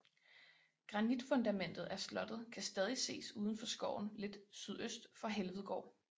Granitfundamentet af slottet kan stadig ses uden for skoven lidt sydøst for Helvedgård